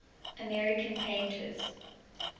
american painters